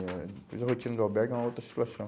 Eh depois a rotina do albergue é uma outra situação.